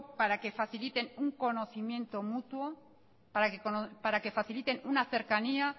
para que faciliten un conocimiento mutuo para que faciliten una cercanía